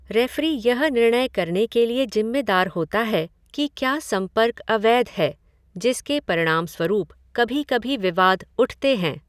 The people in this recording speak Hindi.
रेफ़री यह निर्णय करने के लिए जिम्मेदार होता है कि क्या संपर्क अवैध है जिसके परिणामस्वरूप कभी कभी विवाद उठते हैं।